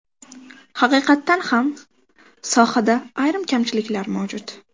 Haqiqatan ham, sohada ayrim kamchiliklar mavjud.